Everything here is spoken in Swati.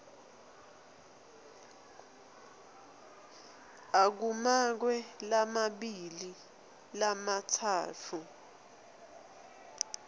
akumakwe lamabili lamatsatfu